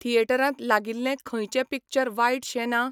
थिएटरांत लागिल्लें खंयचें पिक्चर वायटशें ना?